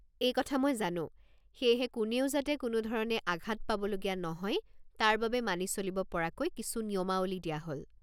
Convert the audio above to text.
এই কথা মই জানো, সেয়েহে কোনেও যাতে কোনো ধৰণে আঘাত পাবলগীয়া নহয় তাৰবাবে মানি চলিব পৰাকৈ কিছু নিয়মাৱলী দিয়া হ'ল!